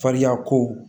Fariyako